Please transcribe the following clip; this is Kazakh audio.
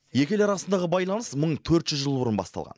екі ел арасындағы байланыс мың төрт жүз жыл бұрын басталған